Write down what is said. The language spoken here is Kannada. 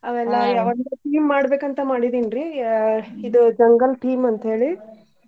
ಅವೆಲ್ಲಾ ಒಂದ್ theme ಮಾಡ್ಬೇಕ್ ಅಂತ ಮಾಡಿದೀನ್ ರೀ ಇದ್ jungle theme ಅಂತ್ಹೇಳಿ.